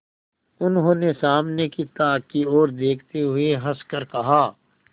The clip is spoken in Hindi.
उन्होंने सामने की ताक की ओर देखते हुए हंसकर कहा